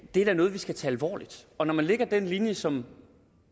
det er da noget vi skal tage alvorligt og når man lægger den linje som